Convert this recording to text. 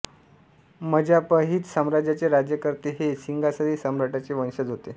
Majapahit साम्राज्याचे राज्यकर्ते हे सिंगासरी सम्राटांचे वंशज होते